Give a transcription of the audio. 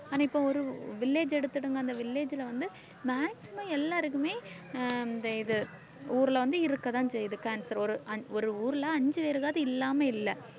ஆனா இப்ப ஒரு village எடுத்துடுங்க அந்த village ல வந்து maximum எல்லாருக்குமே ஆஹ் இந்த இது ஊர்ல வந்து இருக்கத்தான் செய்யுது cancer ஒரு அ~ ஒரு ஊர்ல அஞ்சு பேருக்காவது இல்லாம இல்லை